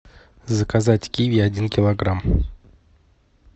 заказать киви один килограмм